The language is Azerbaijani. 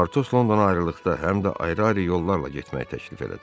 Partos Londona ayrılıqda həm də ayrı-ayrı yollarla getməyi təklif elədi.